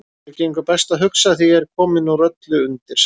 Mér gengur best að hugsa þegar ég er kominn úr öllu undir sæng.